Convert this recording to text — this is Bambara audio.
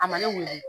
A ma ne weele